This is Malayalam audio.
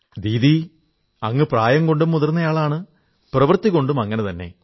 ദീദീ അങ്ങ് പ്രായം കൊണ്ടും മുതിർന്നയാളാണ് പ്രവർത്തികൊണ്ടും അങ്ങനെതന്നെ